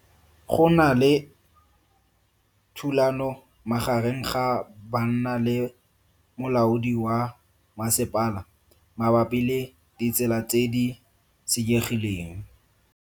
Go na le thulano magareng ga banna le molaodi wa masepala mabapi le ditsela tse di senyegileng.